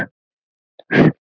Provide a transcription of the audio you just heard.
Þær komu við sögu.